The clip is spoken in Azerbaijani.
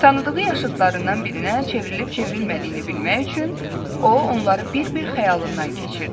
Tanıdığı yaşıtlarından birinə çevrilib-çevrilmədiyini bilmək üçün o onları bir-bir xəyalından keçirdi.